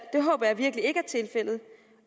virkelig ikke er tilfældet